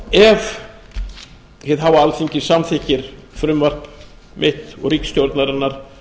ef hið háa alþingi samþykkir frumvarp mitt og ríkisstjórnarinnar